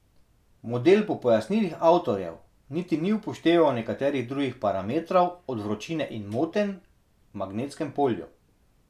Model po pojasnilih avtorjev niti ni upošteval nekaterih drugih parametrov od vročine in motenj v magnetskem polju.